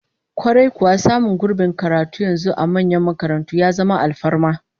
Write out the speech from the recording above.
Kwarai kuwa, samun gurbin karatu yanzu a manyan makarantu ya zama alfarma